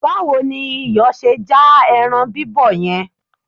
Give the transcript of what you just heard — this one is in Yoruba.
Báwo ni iyọ̀ ṣe já ẹran bíbọ̀ yẹn?